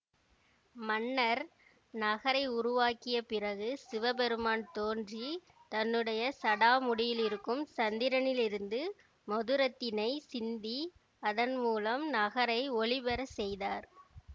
மன்னர் நகரை உருவாக்கியப் பிறகு சிவபெருமான் தோன்றி தன்னுடைய சடாமுடியிலிருக்கும் சந்திரனிலிருந்து மதுரத்தினை சிந்தி அதன் மூலம் நகரை ஒளிபெற செய்தார்